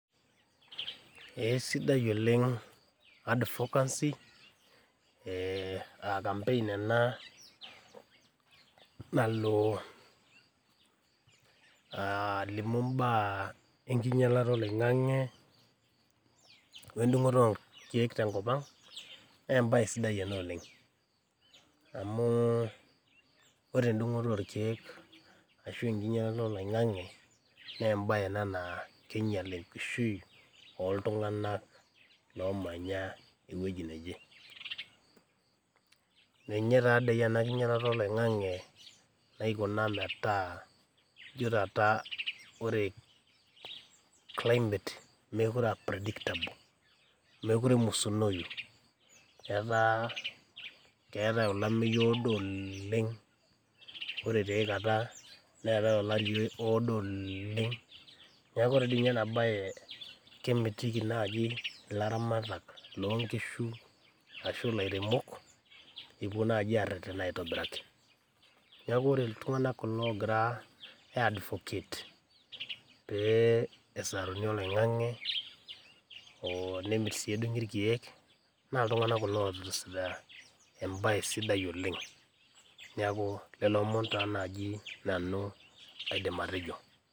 Esidai oleng advocacy aa campaign ana nalo alimu imbaa enkinyaloroto e loing'ang'e o endung'oto olkeek te nkopang, naa embaye sidai oleng, amuu ore endung'oto olkeek ashu enknyalaroto olaing'ang'e naa embaye ena naa keinyal enkishui oltunganak loomanya eweji naje. Ninye taa dei ana enkinyalaroto e loing'ang'e naikuna metaa ijo taata ore climate mekore aa predictable, mekore emusunoiyu, etaa keatae olameiyu oodo oleng, ore ta iaikata neatae olari oleeng, naaku ore dei ninye ena baye kemitiki naaji laramatak loo nkishu ashu lairemok epo aretena aitobiraki. Naaku ore ltunganak kulo oogira aiadvocate pee esaruni olaing'ang'e, nemit sii edung'i irkeek naa ltungana kulo oasita imbaye sidai oleng, naaku lelo omon taa naaji nanu aidim atejo.